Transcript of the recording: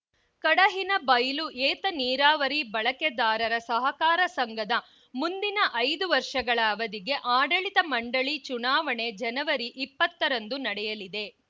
ಕಡಹಿನಬೈಲು ಏತ ನೀರಾವರಿ ಬಳಕೆದಾರರ ಸಹಕಾರ ಸಂಘದ ಮುಂದಿನ ಐದು ವರ್ಷಗಳ ಅವಧಿಗೆ ಆಡಳಿತ ಮಂಡಳಿ ಚುನಾವಣೆ ಜನವರಿ ಇಪ್ಪತ್ತರಂದು ನಡೆಯಲಿದೆ